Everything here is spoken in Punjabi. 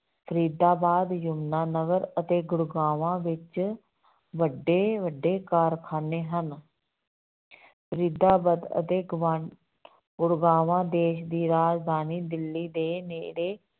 ਫਰੀਦਾਬਾਦ, ਜਮੁਨਾ ਨਗਰ ਅਤੇ ਗੁੜਗਾਵਾਂ ਵਿੱਚ ਵੱਡੇ ਵੱਡੇ ਕਾਰਖਾਨੇ ਹਨ ਫਰੀਦਾਬਾਦ ਅਤੇ ਗੁਆਂ ਗੁੜਗਾਵਾਂ ਦੇਸ ਦੀ ਰਾਜਧਾਨੀ ਦਿੱਲੀ ਦੇ ਨੇੜੇ